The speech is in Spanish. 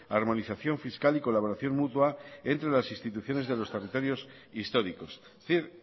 armonización fiscal y colaboración mutua entre las instituciones de los territorios históricos es decir